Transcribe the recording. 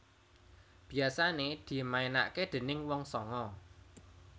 Biasane dimaenake déning wong sanga